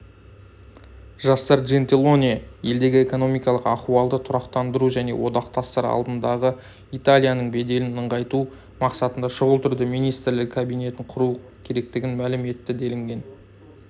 жасар джентилоне елдегі экономикалық ахуалды тұрақтандыру және одақтастар алдындағыиталияның беделін нығайту мақсатында шұғыл түрде министрлер кабинетін құру керектігін мәлім етті делінген